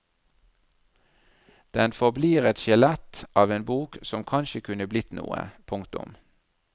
Den forblir et skjelett av en bok som kanskje kunne blitt noe. punktum